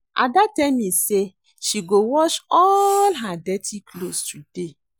Ada tell me say she go wash all her dirty cloths today